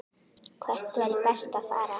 Hvert væri best að fara?